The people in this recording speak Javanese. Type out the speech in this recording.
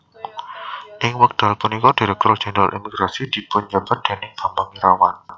Ing wekdal punika Direktur Jenderal Imigrasi dipunjabat déning Bambang Irawan